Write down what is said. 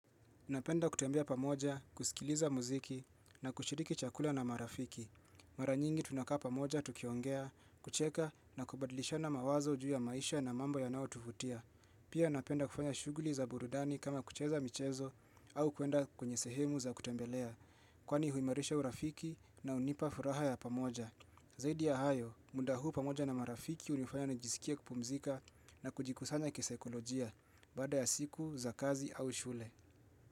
Napenda kutembea pamoja, kusikiliza mziki na kushiriki chakula na marafiki. Mara nyingi tunakaa pamoja, tukiongea, kucheka na kubadilishana mawazo juu ya maisha na mambo yanao tuvutia. Pia napenda kufanya shughuli za burudani kama kucheza michezo au kuenda kwenye sehemu za kutembelea. Kwani huimarisha urafiki na unipa furaha ya pamoja. Zaidi ya hayo, munda huu pamoja na marafiki hunifanya nijisikie kupumzika na kujikusanya kisaikolojia, baada ya siku za kazi au shule.